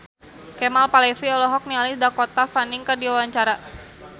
Kemal Palevi olohok ningali Dakota Fanning keur diwawancara